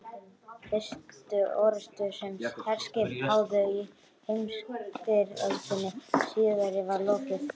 Fyrstu orrustu, sem herskip háðu í heimsstyrjöldinni síðari, var lokið